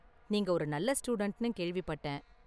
நீங்க ஒரு நல்ல ஸ்டூடண்ட்னு கேள்விப்பட்டேன்.